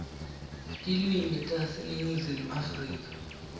tilwimi taseningizimu afrika